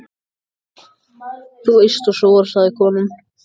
Þú eyst og sóar, sagði konan.